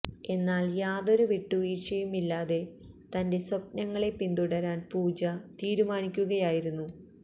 എന്നാല് യാതൊരു വിട്ടുവീഴ്ചയും ഇല്ലാതെ തന്റെ സ്വപ്നങ്ങളെ പിന്തുടരാന് പൂജാ തീരുമാനിക്കുകയായിരുന്നു